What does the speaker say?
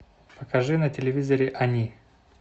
покажи на телевизоре они